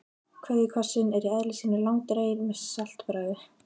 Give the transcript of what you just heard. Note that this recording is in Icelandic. KVEÐJUKOSSINN er í eðli sínu langdreginn með saltbragði.